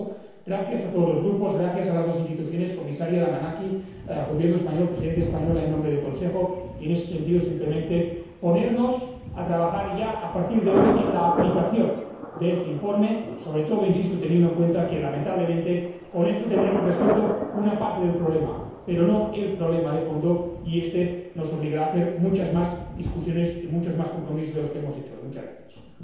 Por lo tanto, gracias a todos los Grupos, gracias a las dos Instituciones, Comisaria Damanaki, Gobierno español Presidencia en ejercicio del Consejo y, en ese sentido, simplemente ponernos a trabajar ya a partir de hoy en la aplicación de este informe, sobre todo insisto teniendo en cuenta que, lamentablemente, con eso tendremos resuelta una parte del problema, pero no el problema de fondo y éste nos obligará a muchas más discusiones y muchos más compromisos que los que hemos contraído hoy.